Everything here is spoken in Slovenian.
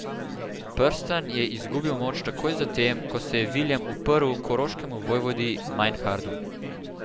Prstan je izgubil moč takoj zatem, ko se je Viljem uprl koroškemu vojvodi Majnhardu.